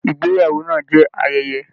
Ìgbéyàwó náà jẹ ayẹyẹ.